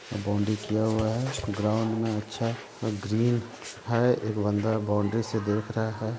Boundary किया हुआ है। ग्राउन्ड में अच्छा ग्रीन है। एक बंदा बॉउन्ड्री से देख रहा है।